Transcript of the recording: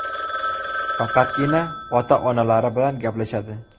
Faqatgina ota-onalari bilan gaplashadi.